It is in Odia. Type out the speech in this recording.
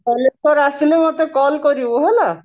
ବାଲେଶ୍ଵର ଆସିଲେ ମୋତେ call କରିବୁ ହେଲା